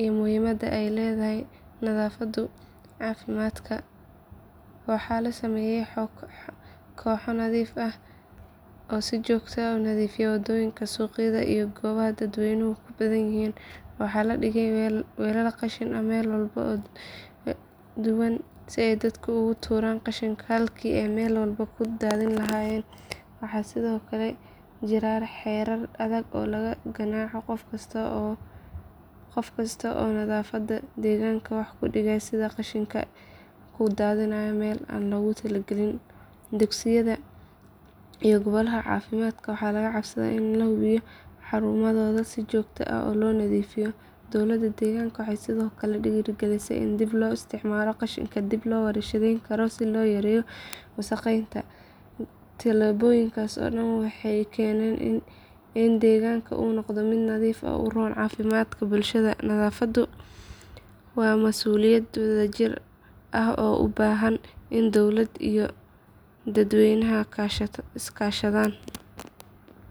iyo muhiimada ay nadaafaddu u leedahay caafimaadka. Waxaa la sameeyay kooxo nadiifin ah oo si joogto ah u nadiifiya wadooyinka, suuqyada iyo goobaha dadweynuhu ku badan yihiin. Waxaa la dhigay weelal qashin oo meelo kala duwan ah si dadka ay ugu tuuraan qashinka halkii ay meel walba ku daadin lahaayeen. Waxaa sidoo kale jira xeerar adag oo lagu ganaaxo qof kasta oo nadaafadda deegaanka wax u dhimaya sida qashin ku daadiya meel aan loogu talagelin. Dugsiyada iyo goobaha caafimaadka waxaa laga codsaday inay hubiyaan in xarumahooda si joogto ah loo nadiifiyo. Dowladda deegaanka waxay sidoo kale dhiirrigelisay in dib loo isticmaalo qashinka dib loo warshadeyn karo si loo yareeyo wasakheynta. Tallaabooyinkaas oo dhan waxay keeneen in deegaanka uu noqdo mid nadiif ah oo u roon caafimaadka bulshada. Nadaafadda waa masuuliyad wadajir ah oo u baahan in dowlad iyo dadweyneba iska kaashadaan.